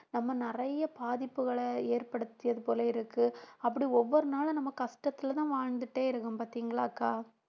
நம்ம நிறைய பாதிப்புகளை ஏற்படுத்தியது போல இருக்கு அப்படி ஒவ்வொரு நாளும் நம்ம கஷ்டத்துலதான் வாழ்ந்துட்டே இருக்கோம் பார்த்தீங்களாக்கா